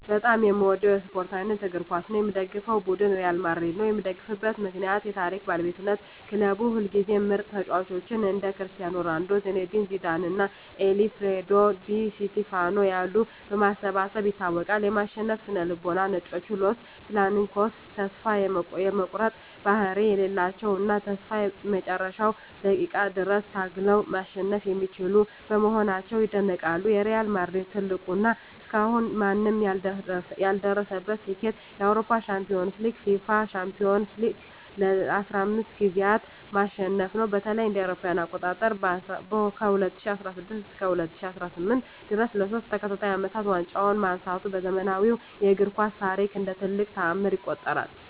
በጣም የምወደው የስፓርት አይነት እግር ኳስ ነው። የምደግፈው ቡድን ሪያል ማድሪድ ነው። የምደግፍበት ምክንያት ዠ የታሪክ ባለቤትነት ክለቡ ሁልጊዜም ምርጥ ተጫዋቾችን (እንደ ክርስቲያኖ ሮናልዶ፣ ዚነዲን ዚዳን እና አልፍሬዶ ዲ ስቲፋኖ ያሉ) በማሰባሰብ ይታወቃል። የማሸነፍ ስነ-ልቦና "ነጮቹ" (Los Blancos) ተስፋ የመቁረጥ ባህሪ የሌላቸው እና እስከ መጨረሻው ደቂቃ ድረስ ታግለው ማሸነፍ የሚችሉ በመሆናቸው ይደነቃሉ። የሪያል ማድሪድ ትልቁ እና እስካሁን ማንም ያልደረሰበት ስኬት የአውሮፓ ሻምፒዮንስ ሊግን (UEFA Champions League) ለ15 ጊዜያት ማሸነፉ ነው። በተለይም እ.ኤ.አ. ከ2016 እስከ 2018 ድረስ ለሶስት ተከታታይ አመታት ዋንጫውን ማንሳቱ በዘመናዊው እግር ኳስ ታሪክ እንደ ትልቅ ተአምር ይቆጠራል።